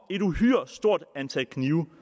et uhyre stort antal knive